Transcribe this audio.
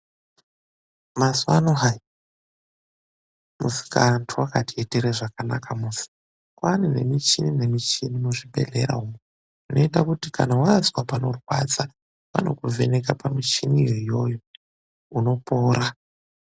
Mazuvaano hayi, Musikaantu wakatiitire zvakanaka musi. Kwaane nemichini nemichini muzvibhehlera umwu. lnoita kuti kana vazwa panorwadza vanokuvheneka pamichiniyo iyoyo, unopora.